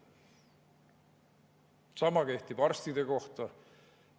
Sama kehtib arstide kohta.